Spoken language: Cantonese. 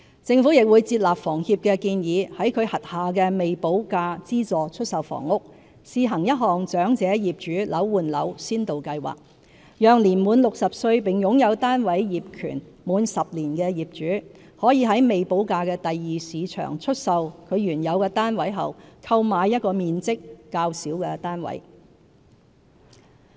政府亦會接納房協的建議，在其轄下的未補價資助出售房屋試行一項"長者業主樓換樓先導計劃"，讓年滿60歲並擁有單位業權滿10年的業主，可在未補價的第二市場出售其原有單位後，購買一個面積較小的單位。